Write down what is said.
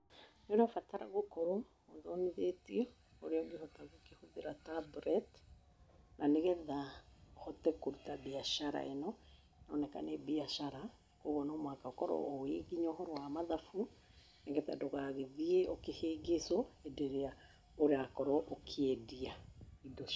Nĩũrabatara gũkorũo ũthomithĩtio ũrĩa ũngĩhota kũhũthĩra tablets, na nĩgetha ũhote kũruta mbiacara ĩno, ĩroneka nĩ mbiacara, ũguo no mũhaka ũkorũo ũĩ nginya ũhoro wa mathabu, nĩgetha ndũgagĩthiĩ ũkĩhĩngĩcũo hĩndĩ ĩria ũrakorwo ukĩendia indo ciaku.